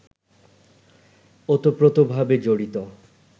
ওতপ্রোতভাবে জড়িত